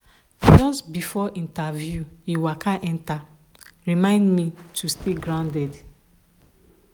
just before interview he waka enter remind me to stay grounded.